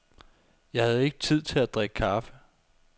Jeg havde ikke tid til at drikke kaffe.